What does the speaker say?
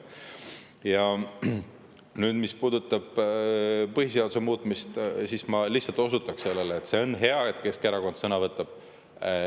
Ja mis puudutab põhiseaduse muutmist, siis ma lihtsalt osutan sellele, et see on hea, et Keskerakond sõna võtab.